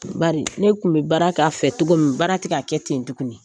Bari ne kun min baara k'a fɛ cogo min, baara ti ga kɛ ten tuguni.